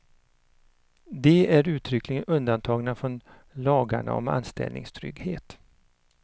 De är uttryckligen undantagna från lagarna om anställningstrygghet.